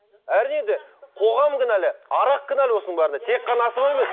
әрине де қоғам кінәлі арақ кінәлі осының бәріне тек қана асаба емес